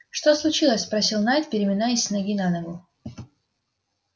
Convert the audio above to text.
что случилось спросил найд переминаясь с ноги на ногу